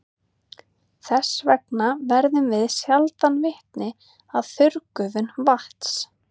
Þess vegna verðum við sjaldan vitni að þurrgufun vatns.